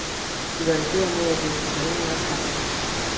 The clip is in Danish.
De var i færd med at låse sig ind i opgangen.